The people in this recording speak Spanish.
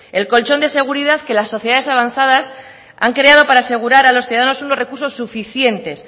el colchón de seguridad que las sociedades avanzadas han creado para asegurar a los ciudadanos unos recursos suficientes